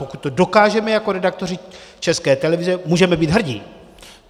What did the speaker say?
Pokud to dokážeme jako redaktoři České televize, můžeme být hrdí.